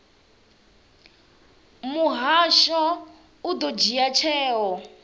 muhasho u ḓo dzhia tsheo